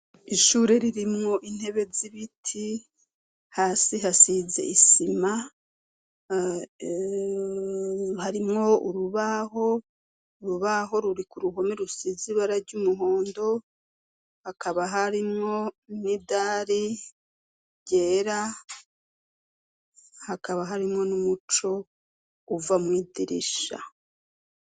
Ishure ririmwo intebe z'ibiti hasi hasize isima harimwo rubaho, urubaho ruri ku ruhome rusizi bara ry'umuhondo hakaba harimwo n'idari ryera hakaba harimwo n'umuco uva mw'idirisha.